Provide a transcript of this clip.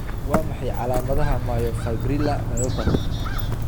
Waa maxay calamadaha iyo calamadaha Myofibrillar myopathy?